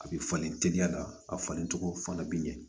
A bɛ falen teliya la a falencogo fana bɛ ɲɛ